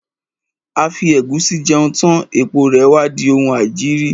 A fi ẹ̀gúsí jẹun tán, èpo rè wá di oun aìjiri.